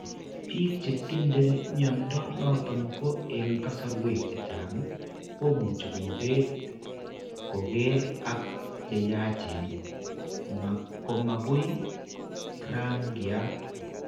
Biik che tindo mnyando noton ko eng' kasarwek chechang' ko much kobet koker ak cheyachen komagui raang'yaat.